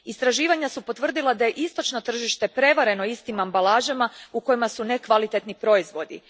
Istraživanja su potvrdila da je istočno tržište prevareno istim ambalažama u kojima su nekvalitetni proizvodi.